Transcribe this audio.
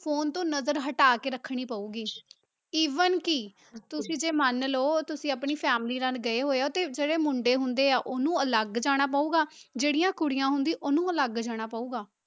phone ਤੋਂ ਨਜ਼ਰ ਹਟਾ ਕੇ ਰੱਖਣੀ ਪਊਗੀ even ਕਿ ਤੁਸੀਂ ਜੇ ਮੰਨ ਲਓ ਤੁਸੀਂ ਆਪਣੀ family ਨਾਲ ਗਏ ਹੋਏ ਹੋ ਤੇ ਜਿਹੜੇ ਮੁੰਡੇ ਹੁੰਦੇ ਆ, ਉਹਨੂੰ ਅਲੱਗ ਜਾਣਾ ਪਊਗਾ, ਜਿਹੜੀਆਂ ਕੁੜੀਆਂ ਹੁੰਦੀਆਂ ਉਹਨੂੰ ਅਲੱਗ ਜਾਣਾ ਪਊਗਾ।